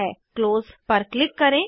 close पर click करें